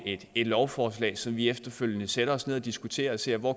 et lovforslag som vi efterfølgende sætter os ned og diskuterer og ser på